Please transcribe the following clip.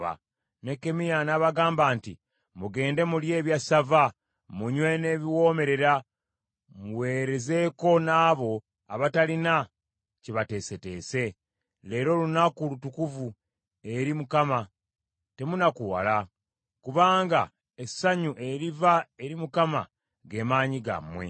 Nekkemiya n’abagamba nti, “Mugende mulye ebyassava, munywe n’ebiwoomerera, muweerezeeko n’abo abatalina kye bateeseteese. Leero lunaku lutukuvu eri Mukama, temunakuwala, kubanga essanyu eriva eri Mukama ge maanyi gammwe.”